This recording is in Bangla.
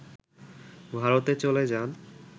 ভারতে চলে যান